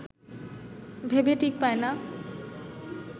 ভেবে ঠিক পায় না